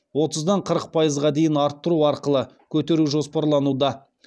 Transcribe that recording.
отыздан қырық пайызға дейін арттыру арқылы көтеру жоспарлануда